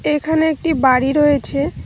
তে এখানে একটি বাড়ি রয়েছে।